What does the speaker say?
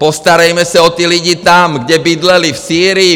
Postarejme se o ty lidi tam, kde bydleli - v Sýrii.